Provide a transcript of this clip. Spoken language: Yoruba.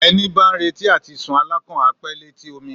Ẹni bá ń retí àtisùn alákàn á pé létí omi